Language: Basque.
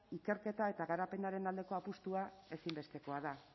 ikerketa eta garapenaren aldeko apustua ezinbestekoa da